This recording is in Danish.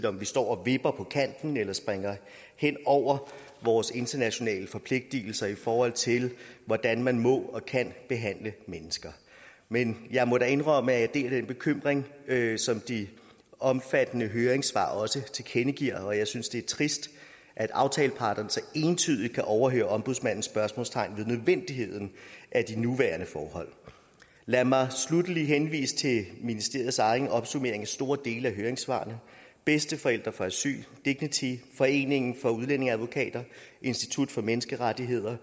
om vi står og vipper på kanten eller springer hen over vores internationale forpligtelser i forhold til hvordan man må og kan behandle mennesker men jeg må da indrømme at jeg deler den bekymring som de omfattende høringssvar også tilkendegiver og jeg synes det er trist at aftaleparterne så entydigt kan overse ombudsmandens spørgsmålstegn ved nødvendigheden af de nuværende forhold lad mig sluttelig henvise til ministeriets egen opsummering af store dele af høringssvarene bedsteforældre for asyl dignity foreningen af udlændingeadvokater institut for menneskerettigheder